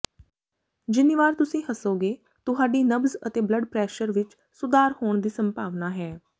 ਜਿੰਨੀ ਵਾਰ ਤੁਸੀਂ ਹੱਸੋਗੇ ਤੁਹਾਡੀ ਨਬਜ਼ ਅਤੇ ਬਲੱਡ ਪ੍ਰੈਸ਼ਰ ਵਿੱਚ ਸੁਧਾਰ ਹੋਣ ਦੀ ਸੰਭਾਵਨਾ ਹੈ